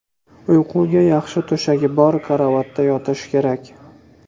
Uyquga yaxshi to‘shagi bor karavotda yotish kerak.